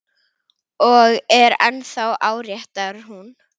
Og er ennþá áréttar hún.